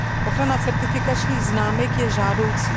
Ochrana certifikačních známek je žádoucí.